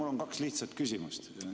Mul on kaks lihtsat küsimust.